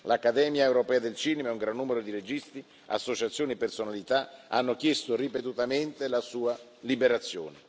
L'Accademia europea del cinema e un gran numero di registi, associazioni e personalità hanno chiesto ripetutamente la sua liberazione.